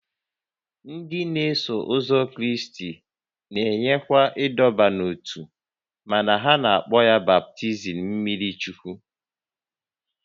Ndị n'eso ụzọ Kraịst na-enyekwa ịdọba n'ótú mana ha na-akpọ ya baptizim mmiri Chukwu